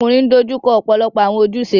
Ọmọkunrin n dojuko ọpọlọpọ awọn ojuse